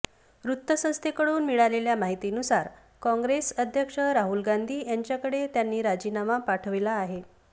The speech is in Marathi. वृत्तसंस्थेकडून मिळालेल्या माहितीनुसार काँग्रेस अध्यक्ष राहुल गांधी यांच्याकडे त्यांनी राजीनामा पाठवला आहे